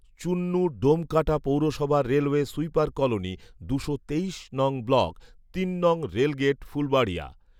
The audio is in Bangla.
চুন্নু ডোমঢাকা পৌরসভা রেলওয়ে সুইপার কলোনি দুশো তেইশ নং ব্লক, তিন নং রেলগেট ফুলবাড়িয়া